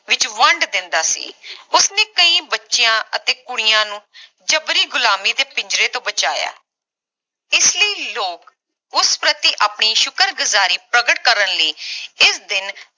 ਵਿਚ ਵੰਢ ਦਿੰਦਾ ਸੀ ਉਸਨੇ ਕਈ ਬੱਚਿਆਂ ਅਤੇ ਕੁੜੀਆਂ ਨੂੰ ਜਬਰੀ ਗੁਲਾਮੀ ਦੇ ਪਿੰਜਰੇ ਤੋਂ ਬਚਾਇਆ ਇਸਲਈ ਲੋਕ ਉਸ ਪ੍ਰਤੀ ਆਪਣੀ ਸ਼ੁਕਰਗੁਜ਼ਾਰੀ ਪ੍ਰਕਟ ਕਰਨ ਲਈ ਇਸ ਦਿਨ